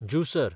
जुसर